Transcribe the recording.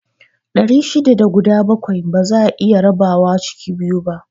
Ɗari shida da guda bakwai ba za'a iya rabawa ciki biyu